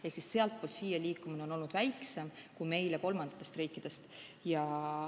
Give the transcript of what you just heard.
Ehk siis sealtpoolt siia liikumine on olnud väiksem kui meile kolmandatest riikidest.